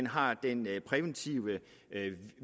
har den præventive